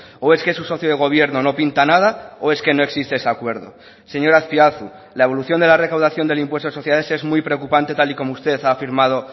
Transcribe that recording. o es que su socio de gobierno no pinta nada o es que no existe ese acuerdo señor azpiazu la evolución de la recaudación del impuesto de sociedades es muy preocupante tal y como usted ha afirmado